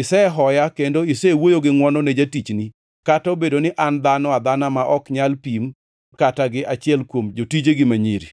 Isehoya kendo isewuoyo gi ngʼwono ne jatichni; kata obedo ni an dhano adhana ma ok nyal pim kata gi achiel kuom jotijegi ma nyiri.”